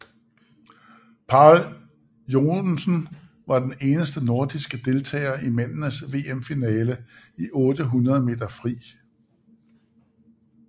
Pál Joensen var den eneste nordiske deltager i mændenes VM finale i 800 meter fri